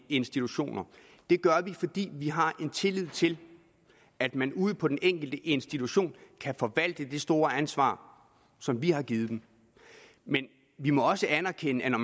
institutioner det gør vi fordi vi har tillid til at man ude på den enkelte institution kan forvalte det store ansvar som vi har givet dem men vi må også anerkende at når